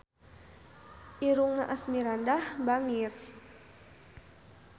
Irungna Asmirandah bangir